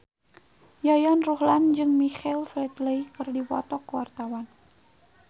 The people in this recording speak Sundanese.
Yayan Ruhlan jeung Michael Flatley keur dipoto ku wartawan